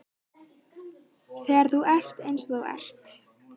Þegar þú ert eins og þú ert.